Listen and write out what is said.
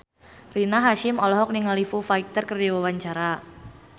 Rina Hasyim olohok ningali Foo Fighter keur diwawancara